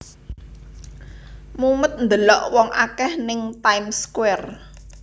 Mumet ndelok wong akeh ning Time Square